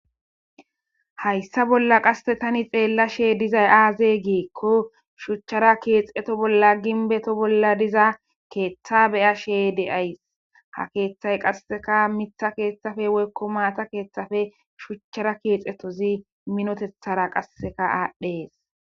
hayssa bolla qasse tani xeella she dizay aaze geekko shuchchara keexeto bolla ginbeto bolla diza keeththa beya she de7ays ha keeththay qasseka mitha keeththafe weykko maata keeththafe shuchchara keexetozi minotethara qasseka aadhdhees